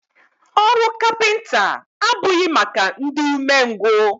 Ọrụ kapịnta abụghị maka ndị ume ngwụ.